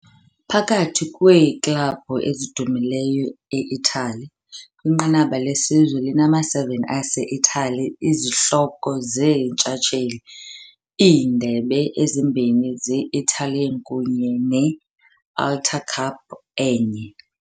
Phakathi kweeklabhu ezidumileyo e-Italy, kwinqanaba lesizwe linama-7 ase-Itali izihloko zeentshatsheli, iindebe ezimbini ze-Italian kunye ne-Alta Cup Cup enye.